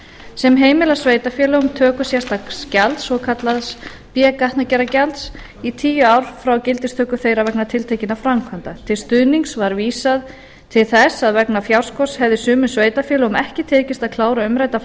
sem heimilar sveitarfélögum töku sérstaks gjalds svokallaðs b gatnagerðargjalds í tíu ár frá gildistöku þeirra vegna tiltekinna framkvæmda til stuðnings var vísað til þess að vegna fjárskorts hefði sumum sveitarfélögum ekki tekist að klára umræddar